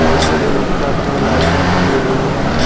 जिसके ऊपर दो लाइटे जली हुई है।